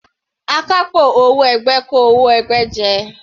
Akápò owó ẹgbẹ́ kó owó ẹgbẹ́ jẹ.